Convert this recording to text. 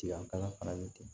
Tiyanka fana ni ten